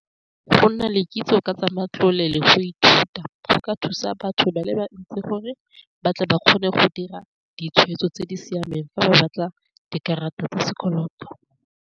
Go nna le kitso ka tsa matlole le go ithuta go ka thusa batho ba le bantsi gore ba tle ba kgone go dira ditshwetso tse di siameng fa ba batla dikarata tsa sekoloto.